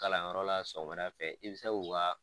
Kalanyɔrɔ la sɔgɔmada fɛ i bɛ se k'u ka